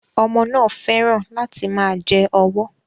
Ọmọ náà fẹ́ràn láti máa jẹ ọwọ́